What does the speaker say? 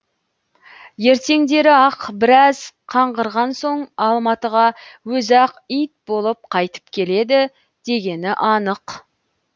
ертеңдері ақ біраз қаңғырған соң алматыға өзі ақ ит болып қайтып келеді дегені анық